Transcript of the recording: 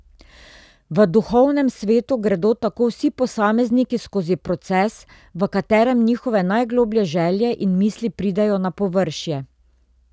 V duhovnem svetu gredo tako vsi posamezniki skozi proces, v katerem njihove najgloblje želje in misli pridejo na površje.